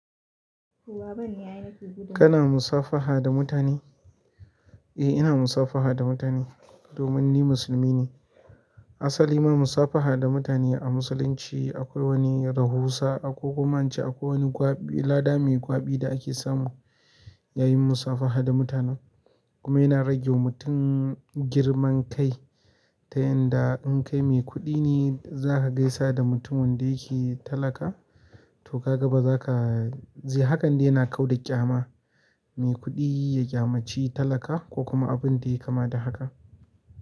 Kana musafaha da mutane? Eh, ina musafaha da mutane domin ni musulmi ne. Asali ma musafaha da mutane a musulunci akwai wani rahusa ako kuma in ce akwai wani gwaɓi lada mai gwaɓi da ake samu yayin musafaha da mutanen. Kuma yana rage wa mutum girman kai ta yanda in kai mai kuɗi ne za ka gaisa da mutumin da yake talaka to ka ga ba za ka ji, hakan dai yana kau da ƙyama. Mai kuɗi ya ƙyamaci talaka ko kuma abin da ya kama da haka.